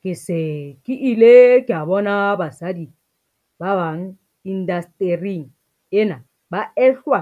Ke se ke ile ka bona basadi ba bang indastering ena ba ehlwa